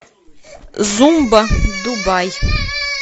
зумба дубай